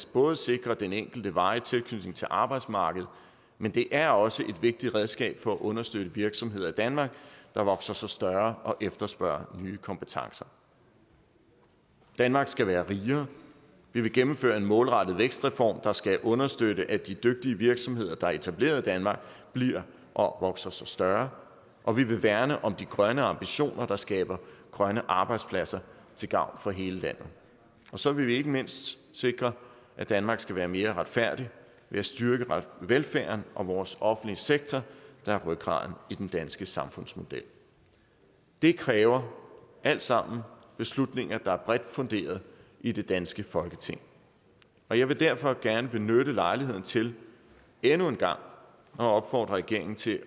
både sikre den enkelte varig tilknytning til arbejdsmarkedet men det er også et vigtigt redskab for at understøtte virksomheder i danmark der vokser sig større og efterspørger nye kompetencer danmark skal være rigere vi vil gennemføre en målrettet vækstreform der skal understøtte at de dygtige virksomheder der er etableret i danmark bliver og vokser sig større og vi vil værne om de grønne ambitioner der skaber grønne arbejdspladser til gavn for hele landet så vil vi ikke mindst sikre at danmark skal være mere retfærdigt ved at styrke velfærden og vores offentlige sektor der er rygraden i den danske samfundsmodel det kræver alt sammen beslutninger der er bredt funderet i det danske folketing og jeg vil derfor gerne benytte lejligheden til endnu en gang at opfordre regeringen til